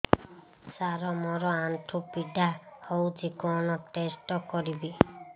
ସାର ମୋର ଆଣ୍ଠୁ ପୀଡା ହଉଚି କଣ ଟେଷ୍ଟ କରିବି